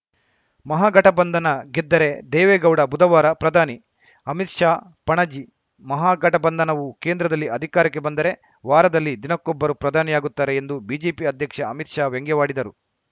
ಮಹಾಗಠಬಂಧನ ಗೆದ್ದರೆ ದೇವೇಗೌಡ ಬುಧವಾರ ಪ್ರಧಾನಿ ಅಮಿತ್‌ ಶಾ ಪಣಜಿ ಮಹಾಗಠಬಂಧನವು ಕೇಂದ್ರದಲ್ಲಿ ಅಧಿಕಾರಕ್ಕೆ ಬಂದರೆ ವಾರದಲ್ಲಿ ದಿನಕ್ಕೊಬ್ಬರು ಪ್ರಧಾನಿಯಾಗುತ್ತಾರೆ ಎಂದು ಬಿಜೆಪಿ ಅಧ್ಯಕ್ಷ ಅಮಿತ್‌ ಶಾ ವ್ಯಂಗ್ಯವಾಡಿದರು